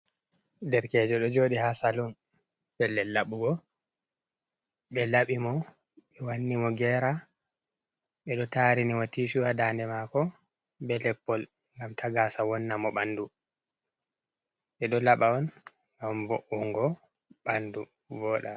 Derkejo ɗo jooɗi ha salun pellel laɓugo, ɓe laɓi mo ɓe wanni mo gera, ɓe ɗo tarini mo tishu ha daande mako be leppol ngam ta gaasa wonna mo ɓandu. Ɓe ɗo laɓa on ngam wo’ungo ɓandu wooɗa.